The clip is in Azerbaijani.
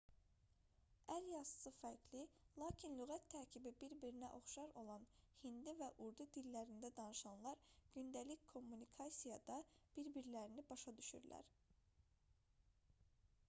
əl yazısı fərqli lakin lüğət tərkibi bir-birinə oxşar olan hindi və urdu dillərində danışanlar gündəlik kommunikasiyada bir-birlərini başa düşürlər